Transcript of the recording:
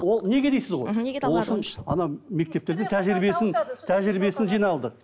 ол неге дейсіз ғой мхм мектепттердің тәжірибесін тәжірибесін жиналдық